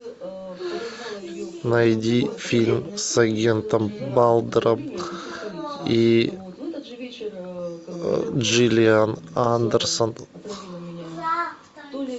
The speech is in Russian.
найди фильм с агентом малдером и джиллиан андерсон